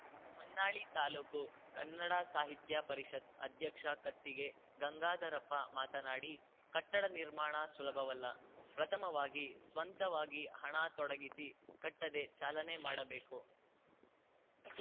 ಹೊನ್ನಾಳಿ ತಾಲೂಕು ಕನ್ನಡ ಸಾಹಿತ್ಯ ಪರಿಷತ್ ಅಧ್ಯಕ್ಷ ಕತ್ತಿಗೆ ಗಂಗಾಧರಪ್ಪ ಮಾತನಾಡಿ ಕಟ್ಟಡ ನಿರ್ಮಾಣ ಸುಲಭವಲ್ಲ ಪ್ರಥಮವಾಗಿ ಸ್ವಂತವಾಗಿ ಹಣ ತೊಡಗಿಸಿ ಕಟ್ಟದೆ ಚಾಲನೆ ಮಾಡಬೇಕು